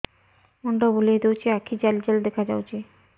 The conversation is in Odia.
ମୁଣ୍ଡ ବୁଲେଇ ଦଉଚି ଆଖି ଜାଲି ଜାଲି ଦେଖା ଯାଉଚି